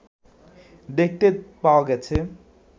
দেখতে পাওয়া গেছে